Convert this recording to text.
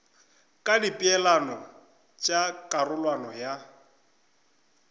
ka dipeelano tša karolwana ya